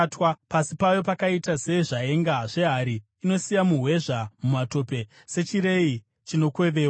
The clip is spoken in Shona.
Pasi payo pakaita sezvaenga zvehari, inosiya muhwezva mumatope sechirei chinokwevewa.